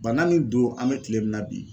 Bana min don an bɛ tile min na bi